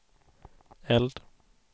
eld